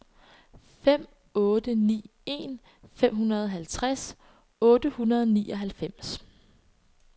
fem otte ni en femoghalvtreds otte hundrede og nioghalvfems